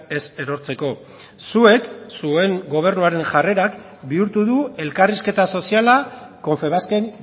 ez erortzeko zuek zuen gobernuaren jarrerak bihurtu du elkarrizketa soziala confebasken